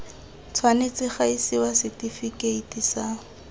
tshwanetse ga isiwa setifikeiti sa